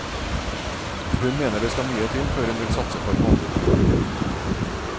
Hun mener det skal mye til før hun vil satse på et vanlig familieliv.